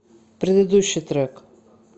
предыдущий трек